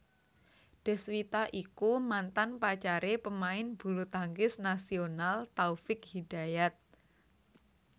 Deswita iku mantan pacare pemain bulutangkis nasional Taufik Hidayat